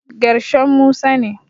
Gershom Musa ne.